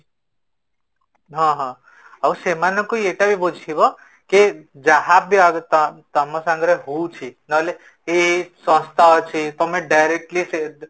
ହଁ, ହଁ ଆଉ ସେମାଙ୍କୁ ଏଟାବି ବୁଝେଇବ, କି ଯାହା ବି ତମ ତମ ସାଙ୍ଗରେ ହୋଉଛି କି ଏଇ ଏଇ ସଂସ୍ଥା ଅଛି ତମେ directly ସେ